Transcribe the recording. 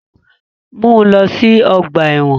Mu u lọ si ọgba ẹ́wọ̀n!